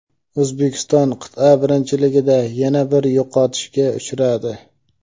O‘zbekiston qit’a birinchiligida yana bir yo‘qotishga uchradi.